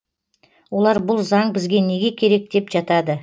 олар бұл заң бізге неге керек деп жатады